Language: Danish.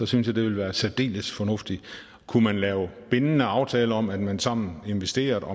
synes jeg det ville være særdeles fornuftigt kunne man lave bindende aftaler om at man sammen investerede